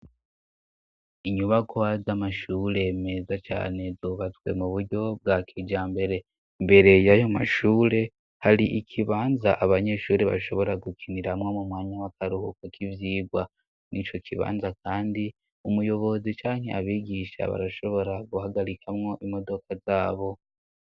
inyubakwa z'amashure meza cyane zubatswe mu buryo bwa kijambere mbere y'ayo mashure hari ikibanza abanyeshuri bashobora gukiniramwo mu mwanya w'akaruhuko k'ibyigwa mw'ico kibanza kandi umuyobozi canke abigisha barashobora guhagarikamwo imodoka zabo